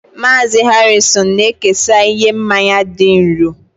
Mazị Harrison na-ekesa ihe mmanya dị nro